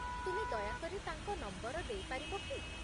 ତୁମେ ଦୟାକରି ତାଙ୍କ ନମ୍ବର ଦେଇପାରିବ କି?